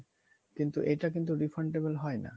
কিন্তু এটা কিন্তু refundable হয় না